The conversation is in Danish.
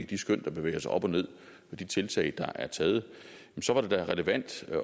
de skøn der bevæger sig op og ned og de tiltag der er taget så er det da relevant